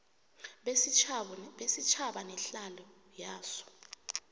besitjhaba nehlalo yaso